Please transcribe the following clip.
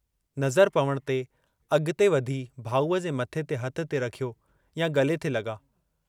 नज़र पवण ते अग॒ते वधी भाऊअ जे मथे ते हथु थे रखियो या गले थे लगा।